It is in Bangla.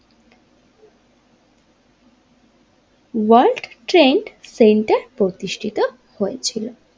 ওয়ার্ল্ড ট্রেড সেন্টার প্রতিষ্ঠিত হয়েছিল।